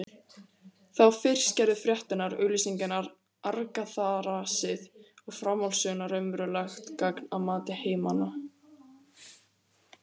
Þá fyrst gerðu fréttirnar, auglýsingarnar, argaþrasið og framhaldssögurnar raunverulegt gagn að mati heimamanna.